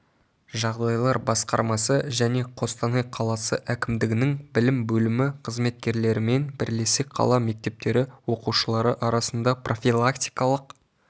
жағдайлар басқармасы және қостанай қаласы әкімдігінің білім бөлімі қызметкерлерімен бірлесе қала мектептері оқушылары арасында профилактикалық